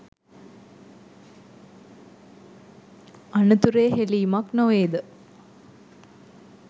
අනතුරේ හෙලීමක් නොවේ ද?